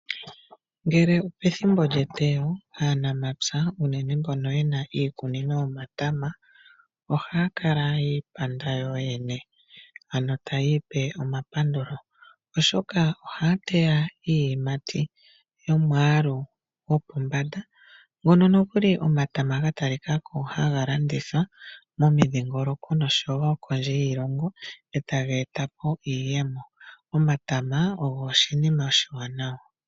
Ngele opethimbo lyeteyo aanamapya unene mbono ye na iikunino yomatama ohaya kala yi ipanda yoyene. Ano taya ipe omapandulo, oshoka ohaya teya iiyimati yomwaalu gopombanda ngono nokuli omatama ga talika ko haga landithwa momidhingoloko nosho wo kondje yiilongo e taga eta po iiyemo. Omatama ogo oshinima oshiwanawa.